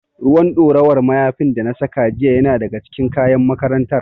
Ruwan ɗorawar mayafin da na saka jiya yana daga cikin kayan makarantar.